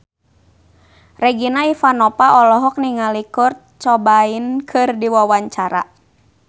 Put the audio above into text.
Regina Ivanova olohok ningali Kurt Cobain keur diwawancara